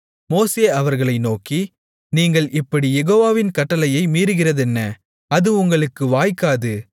மோசே அவர்களை நோக்கி நீங்கள் இப்படி யெகோவாவின் கட்டளையை மீறுகிறதென்ன அது உங்களுக்கு வாய்க்காது